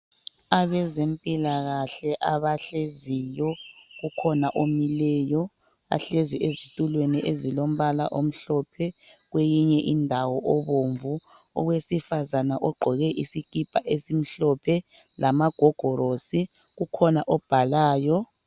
abezempilakahle abahleziyo ukhona omileyo bahlezi ezitulweni ezilombala omhlophe kweyinye indawo obomvu owesifazana ogqoke isikipa esimhlophe lamagogorosi kukhona obhalayo